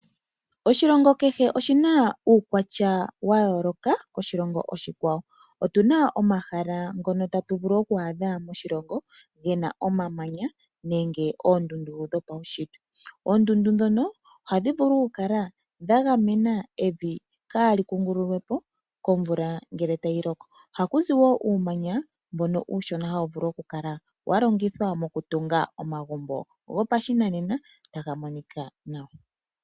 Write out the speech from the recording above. Oshilongo kehe oshi na uukwatya wayoloka koshilongo oshikwawo. Otu na omahala ngono tatu vulu oku adha moshilongo gena omamanya nenge oondundu dhopawushitwe. Oondundu dhono ohadhi vulu okukala dha gamena evi kaa likungululwe po komvula ngele tayi loko. Ohaku zi woo uumanya mbono uushona hawu vulu okukala wa longithwa mokutunga omagumbo gopashinanena taga monika nawa.